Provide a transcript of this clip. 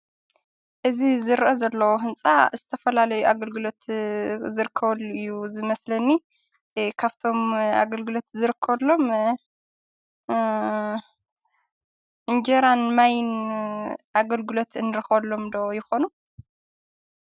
እዚ ዝርአ ዘሎ ህንፃ ዝተፈለለዩ ኣግልግሎት ዝርከበሉ እዩ ዝመስሊኒ:: ካፍቶም ኣግልግሎት ዝርከበሎም እንጀራን ማይን ኣግልግሎት እንተኽበሎም ዶ ይኮኑ?